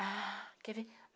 Ah, quer ver?